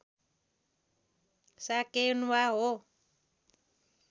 साकेन्वा हो